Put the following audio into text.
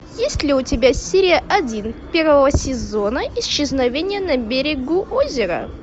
есть ли у тебя серия один первого сезона исчезновение на берегу озера